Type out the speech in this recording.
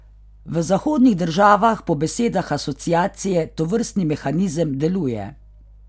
V zahodnih državah po besedah Asociacije tovrstni mehanizem deluje.